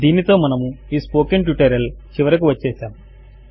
దీనితో మనము ఈ స్పోకెన్ ట్యూటోరియల్ చివరకు వచ్చేసాము